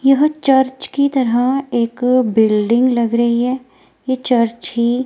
यह चर्च की तरह एक बिल्डिंग लग रही हैं ये चर्च ही--